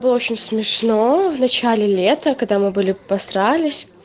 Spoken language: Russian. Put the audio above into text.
было очень смешно в начале лета когда мы были посрались